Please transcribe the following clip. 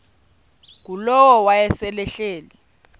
ngulowo wayesel ehleli